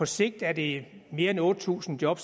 sigt er det mere end otte tusind job